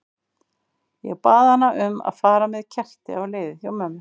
Ég bað hana um að fara með kerti á leiðið hjá mömmu.